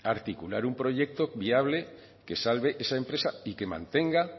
articular un proyecto viable que salve esa empresa y que mantenga